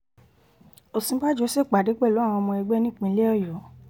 òsínbàjò ṣèpàdé pẹ̀lú àwọn ọmọ ẹgbẹ́ nípìnlẹ̀ ọ̀yọ́